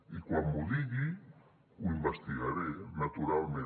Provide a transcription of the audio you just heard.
i quan m’ho digui ho investigaré naturalment